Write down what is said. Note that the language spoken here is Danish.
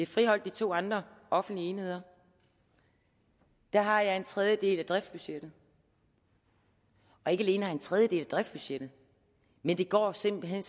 friholdt de to andre offentlige enheder der har jeg en tredjedel af driftsbudgettet og ikke alene har jeg en tredjedel af driftsbudgettet men det går simpelt hen